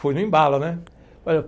Fui no embalo, né?